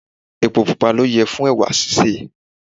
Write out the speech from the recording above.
Epo pupa ló yẹ fún ẹwà sísè.